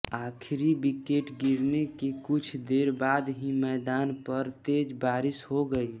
आखिरी विकेट गिरने के कुछ देर बाद ही मैदान पर तेज बारिश हो गई